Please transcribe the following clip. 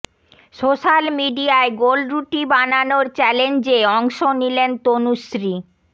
social মিডিয়ায় গোল রুটি বানানোর চ্যালেঞ্জে অংশ নিলেন তনুশ্রী